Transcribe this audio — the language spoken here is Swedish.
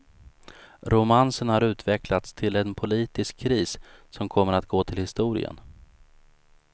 Romansen har utvecklats till en politisk kris som kommer att gå till historien.